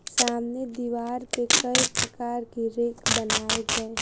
सामने दीवार पे कई प्रकार की रैक बनाए गए है।